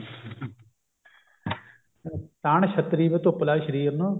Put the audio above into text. ਤਾਣ ਛੱਤਰੀ ਵੇ ਧੁੱਪ ਲੱਗਦੀ ਸ਼ਰੀਰ ਨੂੰ